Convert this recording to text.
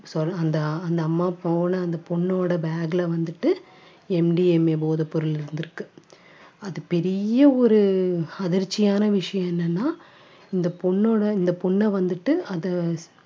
அந்த அந்த அம்மா போன அந்த பொண்ணோட bag ல வந்துட்டு MDMA போதைப் பொருள் இருந்திருக்கு. அது பெரிய ஒரு அதிர்ச்சியான விஷயம் என்னன்னா இந்த பொண்ணோட இந்த பொண்ணை வந்துட்டு அதை